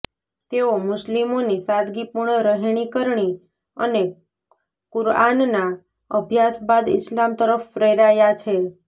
તેઓ મુસ્લિમોની સાદગીપૂર્ણ રહેણીકરણી અને કુર્આનના અભ્યાસ બાદ ઈસ્લામ તરફ પ્રેરાયા છે